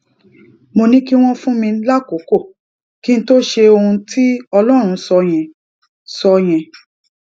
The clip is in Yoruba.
mo ní kí wọn fún mi lákòókò kí n tó ṣe ohun tí ọlọrun sọ yẹn sọ yẹn